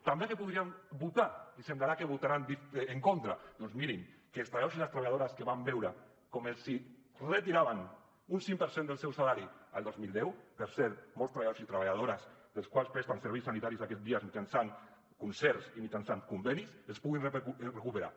també què podrien votar i semblarà que hi votaran en contra doncs mirin que els treballadors i les treballadores que van veure com els retiraven un cinc per cent del seu salari al dos mil deu per cert molts treballadors i treballadores els quals presten serveis sanitaris aquests dies mitjançant concerts i mitjançant convenis els puguin recuperar